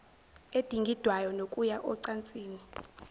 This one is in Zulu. edingidwayo nokuya ocansini